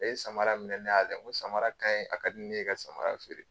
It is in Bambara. E ye samara minɛ, ne y'a layɛ ko samara kanyi, a kadi ne ye e ka samara feere.